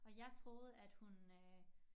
Og jeg troede at hun øh